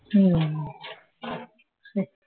হুঁ